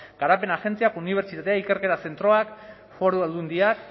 garapen agentziak unibertsitateak ikerketa zentroak foru aldundiak